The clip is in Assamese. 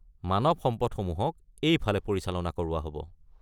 মানৱ সম্পদসমূহক এইফালে পৰিচালনা কৰোৱা হ’ব।